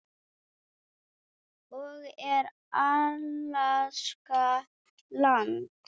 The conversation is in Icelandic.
og Er Alaska land?